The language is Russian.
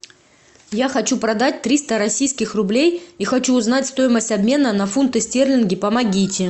я хочу продать триста российских рублей и хочу узнать стоимость обмена на фунты стерлинги помогите